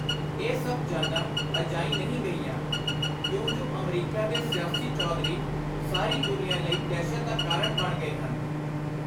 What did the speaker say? ਇਹ ਸਭ ਜਾਨਾਂ ਅਜਾਈਂ ਨਹੀਂ ਗਈਆਂ, ਕਿਉਂਜੁ ਅਮਰੀਕਾ ਦੇ ਸਿਆਸੀ ਚੌਧਰੀ ਸਾਰੀ ਦੁਨੀਆਂ ਲਈ ਦਹਿਸ਼ਤ ਦਾ ਕਾਰਣ ਬਣ ਗਏ ਹਨ।